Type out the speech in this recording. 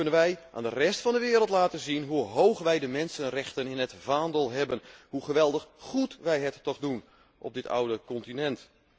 dan kunnen wij aan de rest van de wereld laten zien hoe hoog wij de mensenrechten in het vaandel hebben, hoe geweldig goed wij het toch doen op dit oude continent.